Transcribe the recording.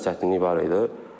Bir az çətinlik var idi.